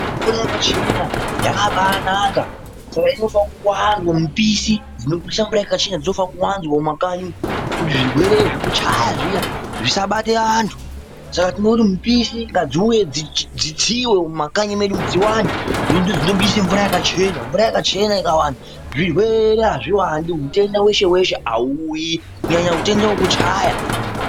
Mvura yakachena yakabanaka saka inofana kuwanda. Mupisi dzinopisa mvura yakachena dzinofana kuwanzwa mumakanyi umu kuti zvirwere zvekuchaya zviya zvisabata antu. Saka tinoti mipisi mumakanyi medu dziwande dzinopise mvura yakachena. Mvura yakachena ikawanda zvirwere azviwandi zvitenda zveshe zveshe hauuyi kunyanya utenda wekuchaya.